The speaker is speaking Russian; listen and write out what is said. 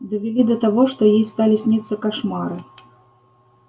довели до того что ей стали сниться кошмары